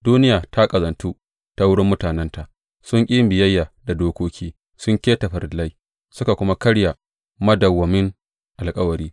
Duniya ta ƙazantu ta wurin mutanenta sun ƙi yin biyayya da dokoki, sun keta farillai suka kuma karya madawwamin alkawari.